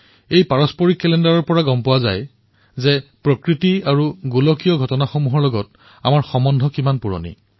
এই পাৰম্পৰিক কেলেণ্ডাৰৰ পৰাই গম পোৱা যায় যে প্ৰাকৃতিক আৰু গোলকীয় ঘটনাসমূহৰ সৈতে আমাৰ সম্বন্ধ কিমান প্ৰাচীন